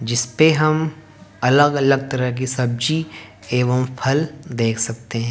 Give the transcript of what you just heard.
जिसपे हम अलग अलग तरह की सब्जी एवं फल देख सकते हैं।